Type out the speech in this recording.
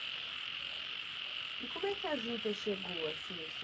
E como é que a Juta chegou assim?